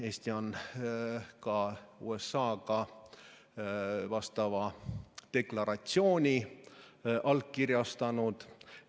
Eesti on ka USA‑ga vastava deklaratsiooni allkirjastanud.